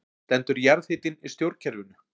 Stendur jarðhitinn í stjórnkerfinu